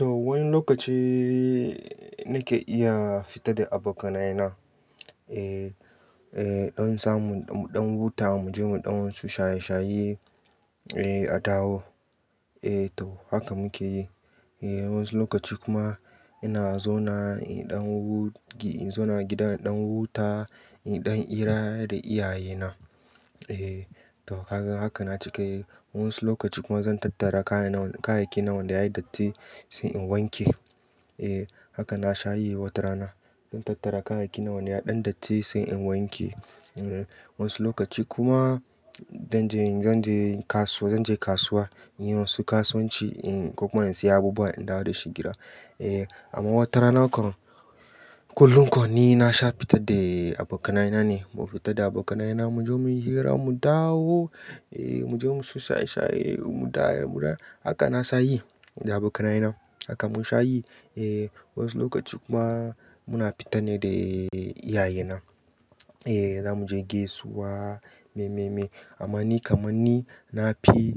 Wani lokaci nake iya fita da abokanai na. Don in samun mu ɗan wuta muje mu ɗan wasu shaye-shaye a taho ehh to haka muke yi. Wayan su lokaci kuma ina zauna a gida in ɗan wuta in ɗan ira da iyaye na. Haka na cika yi. Wani lokaci kuma zan tattara kayayyaki nawa wanda ya datti sai in wanke. Haka na sha yi watarana. Zan tattara kayayyaki na wanda ya ɗan datti sai in wanke. Wayansu lokaci kuma zan je kasuwa in yi wasu kasuwanci ko kuma in siya abubuwa in dawo da shi gida. Amma watarana kam kullum kam ni na sha fita da abokanai na ne. Mu fita da abokanai na muje mu yi hira mu dawo. Muje mu shaye-shaye mu dawo. Haka na sha yi da abokanaye na. Haka mun sha yi. Wayansu lokaci kuma muna fita ne da iyaye na. Za mu je gaisuwa maimai. Amma ni kamanni na fi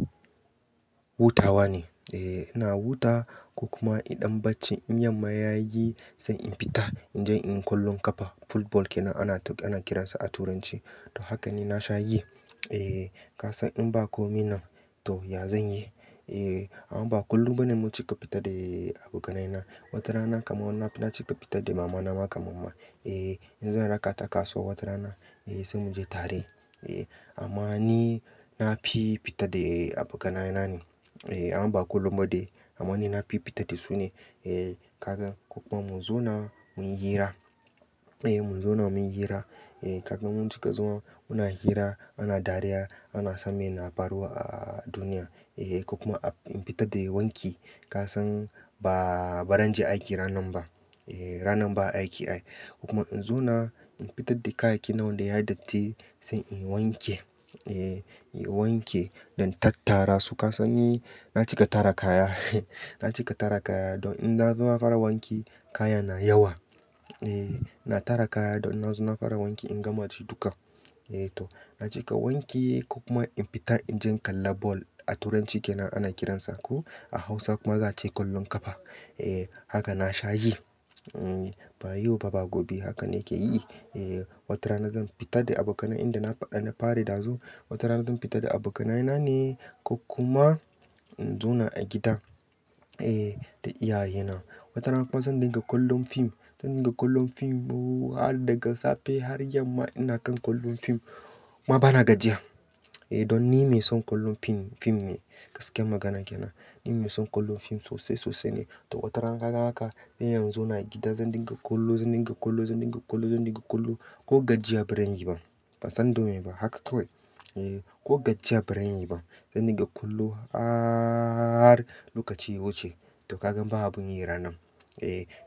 hutawa ne. Ina hutawa ko kuma idan baccin in yama ya yi sai in fita. In je inyi kwallon kafa, Football kenan ana kiran sa a turance. Haka ne na sha yi. Kasan in ba komi nan to ya zan yi? Amman ba kullum bane mun cika fita da abokanaye na. Watarana kamar na cika fita da mama na ma kamar ma. In zan raka ta kasuwa watarana eh sai muje tare. Amma ni na fi fita da abokanaye na ne. Amma ba kullum ba dai. Amma ni na fi fita da su ne. Kagan ko kuma mu zauna mu yi hira. Mu zauna mu yi hira. Kagan mun cika zama muna hira ana dariya ana san me na faruwa a duniya. Ko kuma in fita dai wanki. Kasan ba ran je aiki ranan ba. Rannan ba aiki ai. Ko kuma in zauna in fitar da kayayyaki nawa wanda yayi datti sai in wanke. In wanke don tattara su. Ka san ni na cika tara kaya. Na cika tara kaya don in na zo na fara wanki kaya na yawa. Na tara kaya don na zo na fara wanki in gama ci duka. To na cika wanki ko kuma in fita in je in kalla ball a turanci kenan ana kiransa ko a hausa kuma za a ce kwallon kafa. Haka na sha yi. Bayo fa ba gobe haka ne ke yi. Watarana zan fita da abokanai yanda na faɗa da fari dazu. Watarana zan fita da abokanaye na ne ko kuma in zauna a gida da iyaye na. Watarana kuma zan dinga kallon fim. Zan dinga kallon film har daga safe har yamma ina kan kallon film kuma ba na gajiya. Don ni mai son kallon film ne gaskiyar magana kenan. Ni mai son kullum fim sosai sosai ne. To watarana kagan haka in yanzu ina gida zan dinga kallo, zan dinga kallo, zan dinga kallo, zan dinga kallo ko gajiya ba ran yi ba. Ba san domme ba haka kawai. Ko gajiya ba zan yi ba. Zan dinga kallo har lokaci ya wuce. To kagan ba abun yi ranan.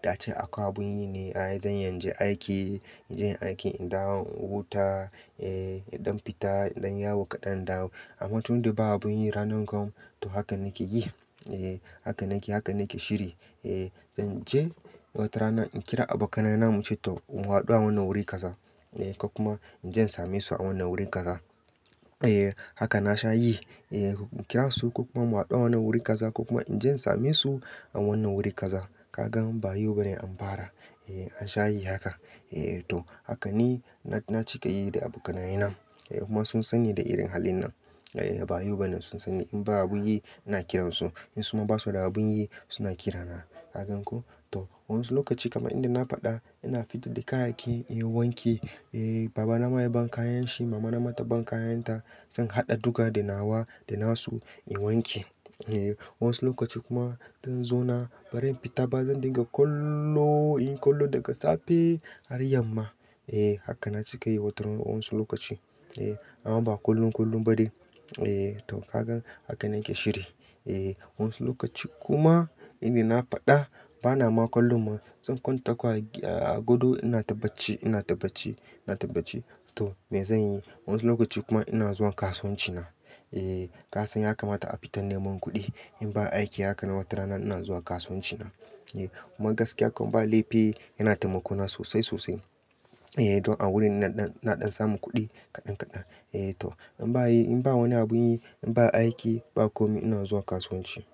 Da ace akwai abun yi ne. Ai zan iya inje aiki, inje in aiki, in dawo in huta, in ɗan fita, in ɗanyi yawo kaɗan in dawo. Amma tun da ba abun yi ranan kam to haka nake yi. Haka nake, haka nake shiri. Zan je watarana in kira abokanaye na muce toh mu hadu a wannan wuri kaza. Ko kuma in je in same su a wannan wurin kaza. Haka na sha yi. In kira su ko kuma mu hadu a wannan wuri kaza ko kuma in je in same su a wannan wuri kaza. Kagan bayau bane an fara. An sha yi haka. To haka ni na cika yi da abokanaye na kuma sun sani da irin halin nan. Bayo bane sun sani in ba abun yi ina kiran su. In suma ba su da abun yi suna kira na. Kagan ko? To wa'insu lokaci kamar inda na faɗa ina fitar da kayayyaki inyi wanki. Baba na ma ya ban kayan shi, mama na ma ta ban kayan ta. Zan haɗa duka da nawa da nasu in wanke. Wa'ansu lokaci kuma zan zauna baran fita ba zan dinga kallo inyi kallo daga safe har yamma. Haka na cika yi watarana wayansu lokaci. Amma ba kullum kullum ba dai. Eh to kagan haka nake shiri eh wa'ansu lokaci kuma inda na faɗa ba na ma kallon ma zan kwanta kawai a gado ina tabbaci, ina tabbaci, ina tabbaci. To me zan yi? Wani lokaci kuma ina zuwa kasuwanci na. Kasan ya kamata a fita neman kuɗi in ba aiki haka na watarana ina zuwa kasuwanci na. Kuma gaskiya kam ba laifi yana taimako na sosai sosai. Don a wurin ina ɗan samun kuɗi kaɗan kaɗan. To in ba wani abun yi, in ba aiki ba komi ina zuwa kasuwanci.